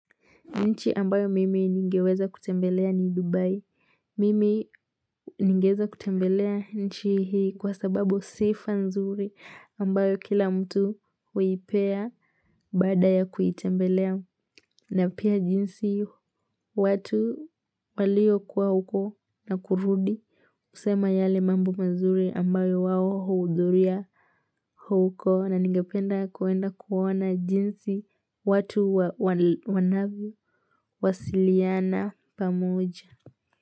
Nchi ambayo mimi ningeweza kutembelea ni Dubai. Mimi ningeweza kutembelea nchi hii kwa sababu sifa nzuri ambayo kila mtu huipea bada ya kuitembelea na pia jinsi watu waliokuwa huko na kurudi. Husema yale mambu mazuri ambayo wao huudhuria huko na ningependa kuenda kuona jinsi watu wanavyo wasiliana pamoja.